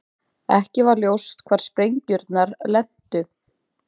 Ekki var ljóst hvar sprengjurnar lentu